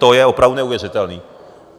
To je opravdu neuvěřitelné.